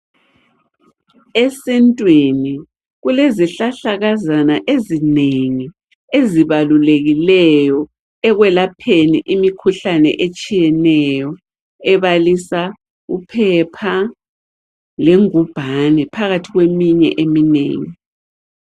Esintwini kulezihlahlakazana ezinengi ezibalulekileyo ekwelapheni imikhuhlane etshiyeneyo ebalisa uphepha lengubhane phakathi kweminye eminengi.